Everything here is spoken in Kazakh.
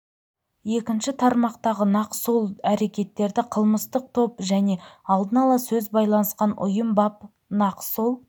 екінші тармақтағы нақ сол әрекеттерді кылмыстық топ және алдын ала сөз байланысқан ұйым бап нақ сол